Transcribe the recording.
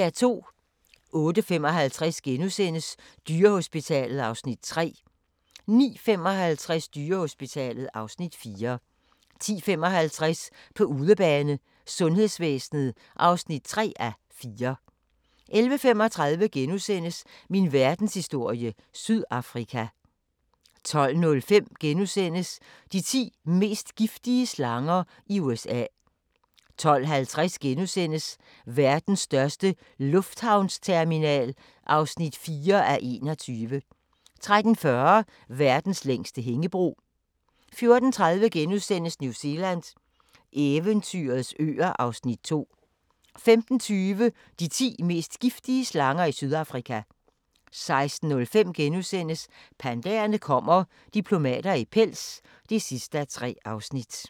08:55: Dyrehospitalet (Afs. 3)* 09:55: Dyrehospitalet (Afs. 4) 10:55: På udebane: Sundhedsvæsenet (3:4) 11:35: Min verdenshistorie - Sydafrika * 12:05: De ti mest giftige slanger i USA * 12:50: Verdens største lufthavnsterminal (4:21)* 13:40: Verdens længste hængebro 14:30: New Zealand – eventyrets øer (Afs. 2)* 15:20: De ti mest giftige slanger i Sydafrika 16:05: Pandaerne kommer – diplomater i pels (3:3)*